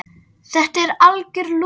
Þetta er algjör lúxus.